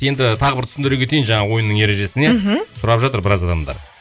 енді тағы бір түсіндіре кетейін жаңағы ойынның ережесін иә мхм сұрап жатыр біраз адамдар